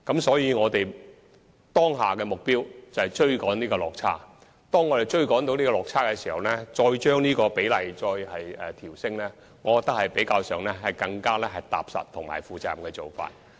所以，我們當下的目標是要追趕這個落差，我認為在能夠趕上這個落差後才把供應比例調升，是較為踏實和負責任的做法。